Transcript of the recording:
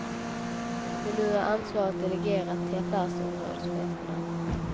Men nu är ansvaret delegerat till affärsområdescheferna.